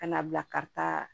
Ka na bila ka taa